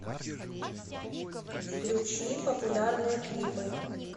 включи популярные клипы